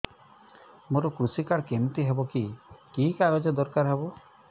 ମୋର କୃଷି କାର୍ଡ କିମିତି ହବ କି କି କାଗଜ ଦରକାର ହବ